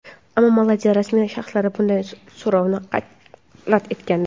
Ammo Malayziya rasmiy shaxslari bunday so‘rovni rad etgandi.